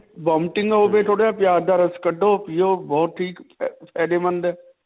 vomiting ਹੋਵੇ ਥੋੜਾ ਪਿਆਜ ਦਾ ਰਸ ਕੱਡੋ, ਪਿਓ ਬਹੁਤ ਠੀਕ. ਫ਼ਾਯਦੇਮੰਦ ਹੈ.